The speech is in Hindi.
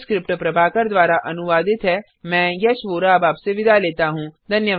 यह स्क्रिप्ट प्रभाकर द्वारा अनुवादित है मैं यश वोरा अब आपसे विदा लेता हूँ